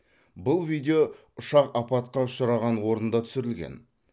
бұл видео ұшақ апатқа ұшыраған орында түсірілген